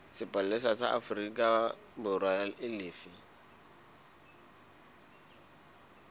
sepolesa sa aforikaborwa e lefe